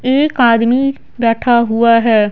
एक आदमी बैठा हुआ है।